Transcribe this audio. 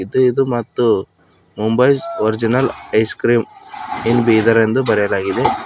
ಮತ್ತು ಇದು ಮತ್ತು Mumbai's original ice cream in Bidar ಎಂದು ಬರೆಯಲಾಗಿದೆ.